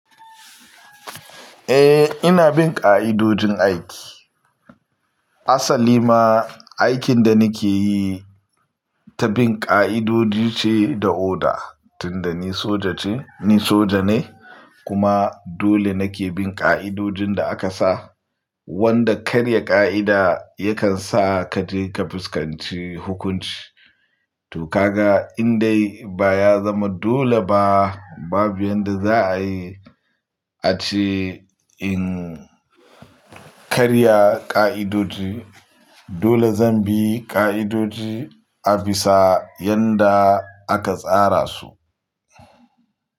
Eh, ina bin ƙa'idodin aiki. Asali ma, aikin da nike yi ta bin ƙa'idodi ce da oda. Tunda ni soja ce, ni soja ne kuma dole nake bin ƙa'idodin da aka sa. Wanda karya ƙa'ida yakan sa ka je ka fuskanci hukunci. To ka ga in dai baya zama dole ba, babu yanda za a yi. Ati in karya ƙa'idodi, dole zan bi ƙa'idodi a bisa yanda aka tsara su.